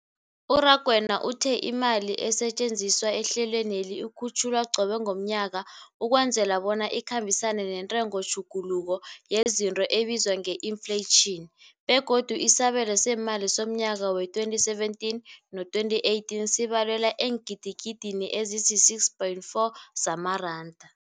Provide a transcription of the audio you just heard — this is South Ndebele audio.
U-Rakwena uthe imali esetjenziswa ehlelweneli ikhutjhulwa qobe ngomnyaka ukwenzela bona ikhambisane nentengotjhuguluko yezinto ebizwa nge-infleyitjhini, begodu isabelo seemali somnyaka we-2017 no-2018 sibalelwa eengidigidini ezisi-6.4 zamaranda.